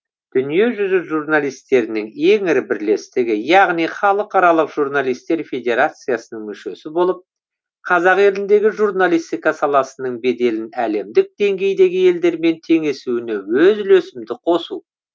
дүние жүзі журналистерінің ең ірі бірлестігі яғни халықаралық журналистер федерациясының мүшесі болып қазақ еліндегі журналистика саласының беделін әлемдік деңгейдегі елдермен теңесуіне өз үлесімді қосу